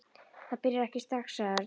Það byrjar ekki strax, sagði Örn.